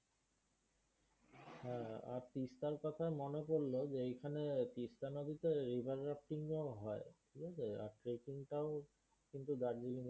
আর তিস্তার কোথায় মনে পরলো যে এইখানে তিস্তা নদীতে হয় ঠিকাছে, আর trekking টাও কিন্তু দার্জিলিং এ